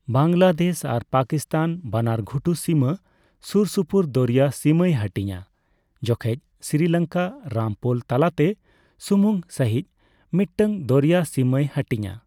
ᱵᱟᱝᱞᱟᱫᱮᱥ ᱟᱨ ᱯᱟᱠᱤᱥᱛᱟᱱ ᱵᱟᱱᱟᱨ ᱜᱷᱩᱴᱩ ᱥᱤᱢᱟᱹ ᱥᱳᱨᱥᱳᱯᱳᱨ ᱫᱚᱨᱭᱟ ᱥᱤᱢᱟᱹᱭ ᱦᱟᱹᱴᱤᱧᱟ, ᱡᱚᱠᱷᱮᱡ ᱥᱨᱤᱞᱚᱝᱠᱟ ᱨᱟᱢ ᱯᱳᱞ ᱛᱟᱞᱟᱛᱮ ᱥᱩᱢᱩᱝ ᱥᱟᱹᱦᱤᱡ ᱢᱤᱫᱴᱟᱝ ᱫᱚᱨᱭᱟ ᱥᱤᱢᱟᱹᱭ ᱦᱟᱹᱴᱤᱧᱟ ᱾